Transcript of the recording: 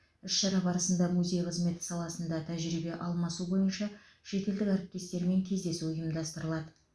іс шара барысында музей қызметі саласында тәжірибе алмасу бойынша шетелдік әріптестерімен кездесу ұйымдастырылады